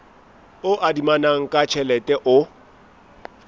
o adimanang ka tjhelete o